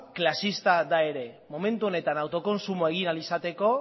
klasista da ere momentu honetan autokontsumoa egin ahal izateko